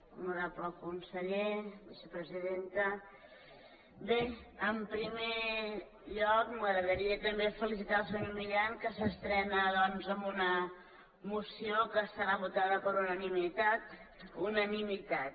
honorable conseller vicepresidenta bé en primer lloc m’agradaria també felicitar el senyor milián que s’estrena doncs amb una moció que serà votada per unanimitat unanimitat